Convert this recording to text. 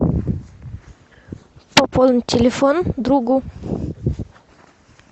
пополнить телефон другу